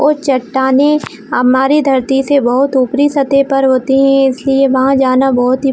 और चट्टानें हमारे धरती से बहोत ही उपरी सतह पर होती है इसलिए वहाँ जाना बहोत ही--